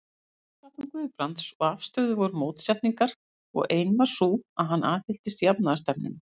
Í lífsháttum Guðbrands og afstöðu voru mótsetningar, og ein var sú, að hann aðhylltist jafnaðarstefnuna.